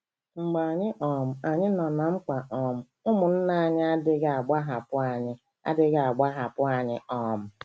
Mgbe um anyị nọ ná mkpa um, ụmụnna anyị adịghị agbahapụ anyị adịghị agbahapụ anyị um.